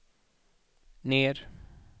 ner